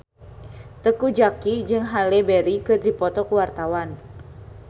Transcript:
Teuku Zacky jeung Halle Berry keur dipoto ku wartawan